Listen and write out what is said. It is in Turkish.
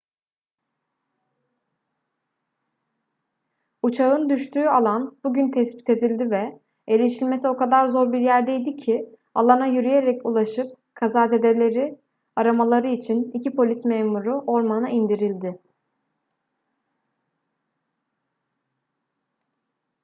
uçağın düştüğü alan bugün tespit edildi ve erişilmesi o kadar zor bir yerdeydi ki alana yürüyerek ulaşıp kazazedeleri aramaları için iki polis memuru ormana indirildi